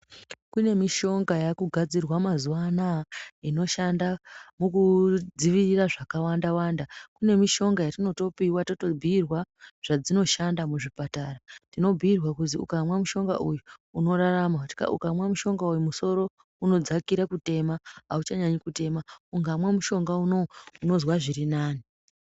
Kune mushonga yaakugadzirwa mazuwa anaya inoshanda mukudzivirira zvakawanda wanda. Kune mushonga yetinotopiwa totobhiirwa zvadzinoshanda muzvipatara. Tinobhiirwa kuzi ukamwa mushonga uyu unorarama, ukamwa mushonga uyu musoro unodzakira kutema auchanyanyi kutema, ukamwa mushonga unowu unozwa zvirinani.